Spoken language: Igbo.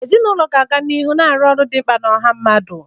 Ezinụlọ ga-aga n'ihu na-arụ ọrụ dị mkpa na ọha mmadụ.